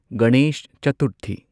Ganesh Chaturthi